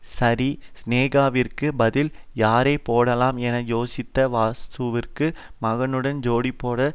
சரி சினேகாவிற்கு பதில் யாரை போடலாம் என யோசித்த வாசுவிற்கு மகனுடன் ஜோடிபோட்ட